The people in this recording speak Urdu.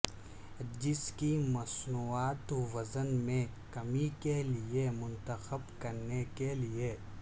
جس کی مصنوعات وزن میں کمی کے لئے منتخب کرنے کے لئے